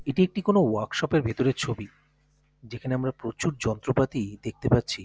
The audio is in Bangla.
এটি একটি কোন ওয়ার্কশপ -এর ভেতরের ছবি যেখানে আমরা প্রচুর যন্ত্রপাতি দেখতে পাচ্ছি।